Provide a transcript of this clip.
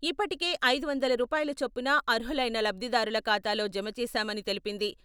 ఇప్పటికే ఐదు వందల రూపాయల చొప్పున అర్హులైన లబ్దిదారుల ఖాతాలో జమచేశామని తెలిపింది.